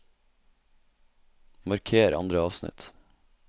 Marker andre avsnitt